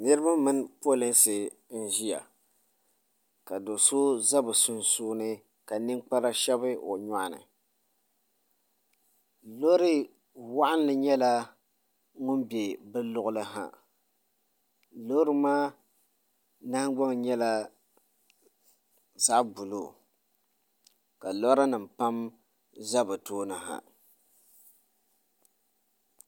Niriba mini polinsi n ziya ka doso za bi sunsuuni ka ninkpara shɛbi o yɔɣu ni loori wɔɣinli nyɛla ŋuni bɛ bi liɣili ha loori maa nahingbaŋ nyɛla zaɣi buluu ka lɔra nima pam za bi tooni ha.